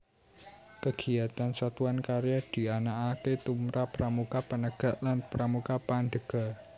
Kegiatan Satuan Karya dianakake tumrap Pramuka Penegak lan Pramuka Pandega